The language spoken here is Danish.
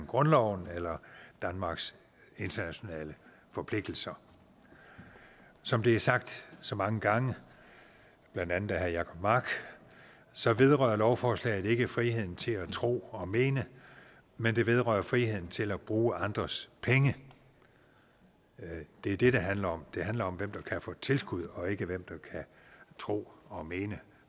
grundloven eller danmarks internationale forpligtelser som det er sagt så mange gange blandt andet af herre jacob mark så vedrører lovforslaget ikke friheden til at tro og mene men det vedrører friheden til at bruge andres penge det er det det handler om det handler om hvem der kan få tilskud og ikke hvem der kan tro og mene